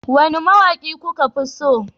Wane mawaki kuka fi so?